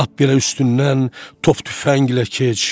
Lap birə üstündən top tüfənglə keç.